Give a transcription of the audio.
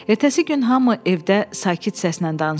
Ertəsi gün hamı evdə sakit səslə danışırdı.